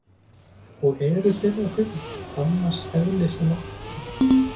Og eru þeirra kaupmenn annars eðlis en okkar?